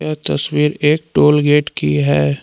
ये तस्वीर एक टोल गेट की है।